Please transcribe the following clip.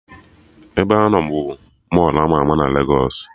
Ebeanọ bụ Mọlụ ama ama na Legos